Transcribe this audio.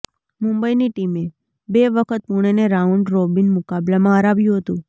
મુંબઇની ટીમે બે વખત પુણેને રાઉન્ડ રોબિન મુકાબલામાં હરાવ્યું હતું